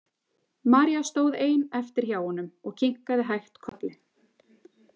María stóð ein eftir hjá honum og kinkaði hægt kolli.